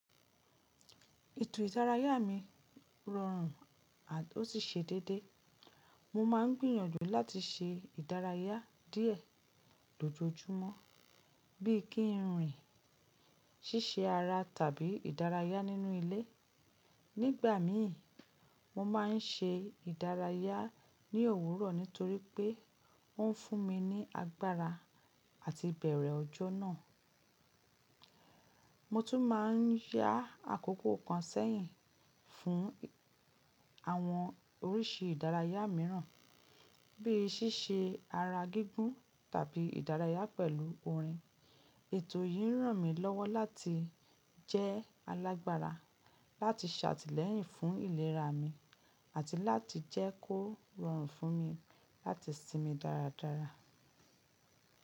Ètò ìdárayá mi rọrùn a ò sí ṣe déédé. Mo ma ń gbìyànjú láti ṣe ìdárayá díẹ̀ lójoojúmọ́, bíi kí n rìn, ṣíṣe ara tàbí ìdárayá nínú ilé. Nígbà mi, mo ma n ṣe ìdárayá ní òwúrọ̀ nítorí pé ó n fún mi ní agbára àti ìbẹ̀rẹ̀ ọjọ́ náà. Mo tún ma n yá àkókò kan sẹ́yìn fún àwọn oríṣi ìdárayá míràn, bíi ṣíṣe ara gígùn tàbí ìdárayá pẹ̀lú orin. Ètò yìí ràn mí lọ́wọ́ láti jẹ́ alágbára, láti ṣàtìlẹ́yìn fún ìlera mi, àti láti jẹ́ kó rọrùn fún mi láti sinmi dáradára.